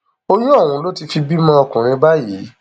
oyún ọhún ló ti fi bímọ ọkùnrin báyìí